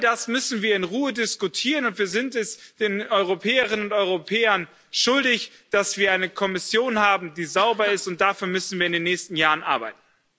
All das müssen wir in Ruhe diskutieren, und wir sind es den Europäerinnen und Europäern schuldig, dass wir eine Kommission haben, die sauber ist, und dafür müssen wir in den nächsten Jahren arbeiten.